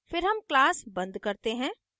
फिर हम class बंद करते हैं